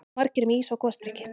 Margir með ís og gosdrykki.